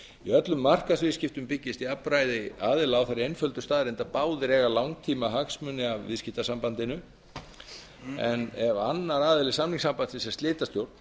í öllum markaðsviðskiptum byggist jafnræði aðila á þeirri einföldu staðreynd að báðir eiga langtímahagsmuni af viðskiptasambandinu ef annar aðili samningssambandsins er slitastjórn